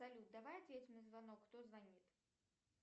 салют давай ответим на звонок кто звонит